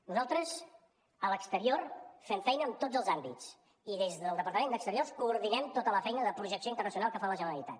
nosaltres a l’exterior fem feina en tots els àmbits i des del departament d’exterior coordinem tota la feina de projecció internacional que fa la generalitat